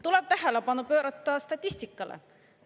Tuleb tähelepanu pöörata statistikale.